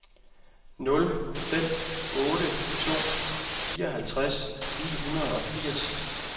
nul fem otte to fireoghalvtreds ni hundrede og firs